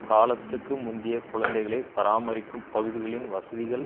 காலத்துக்கு முந்திய குழந்தைகளை பராமரிக்கும் பகுதிகளின் வசதிகள்